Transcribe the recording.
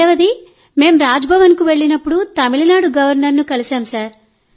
రెండవది మేం రాజ్భవన్కు వెళ్లినప్పుడు తమిళనాడు గవర్నర్ను కలిశాం